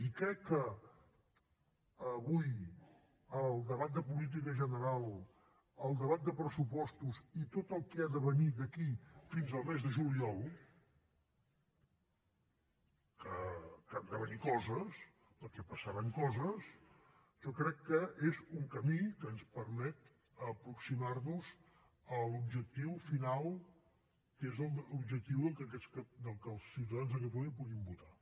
i crec que avui el debat de política general el debat de pressupostos i tot el que ha de venir d’aquí fins al mes de juliol que han de venir coses perquè passaran coses jo crec que és un camí que ens permet aproximar nos a l’objectiu final que és l’objectiu que els ciutadans de catalunya puguin votar